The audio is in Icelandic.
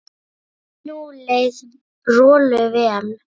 Nú leið Rolu vel.